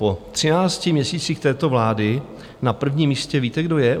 Po třinácti měsících této vlády na prvním místě víte, kdo je?